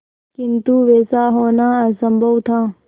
किंतु वैसा होना असंभव था